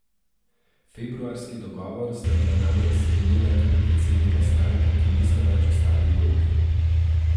Februarski dogovor sta bila namreč sklenila tudi predsednika strank, ki nista več v stari vlogi.